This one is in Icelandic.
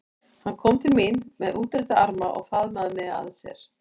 Hann kom til mín með útrétta arma og faðmaði mig að sér.